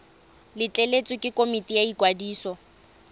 letleletswe ke komiti ya ikwadiso